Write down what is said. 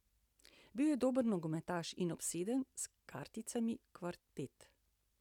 Bil je dober nogometaš in obseden s karticami kvartet.